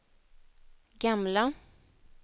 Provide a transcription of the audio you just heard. gamla